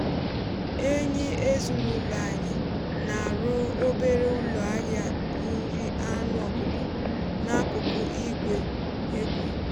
enyi ezinụlọ anyị um na-arụ obere ụlọ ahịa nri anụ ọkụkọ n'akụkụ igwe egwe.